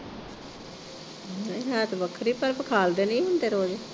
ਹੈਅ ਤੇ ਵੱਖਰੇ ਪਰ ਵਿਖਾਲਦੇ ਨੀ ਹੁੰਦੇ ਰੋਜ਼।